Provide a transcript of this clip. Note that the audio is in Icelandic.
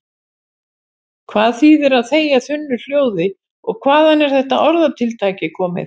Hvað þýðir að þegja þunnu hljóði og hvaðan er þetta orðatiltæki komið?